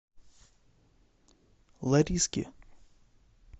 лариске